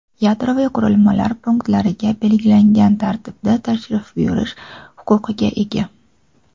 yadroviy qurilmalar punktlariga belgilangan tartibda tashrif buyurish huquqiga ega.